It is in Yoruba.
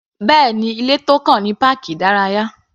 Bẹ́ẹ̀ni, ilé tó kàn ní páàkì ìdárayá.